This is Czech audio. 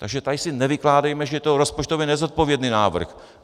Takže tady si nevykládejme, že to je rozpočtově nezodpovědný návrh.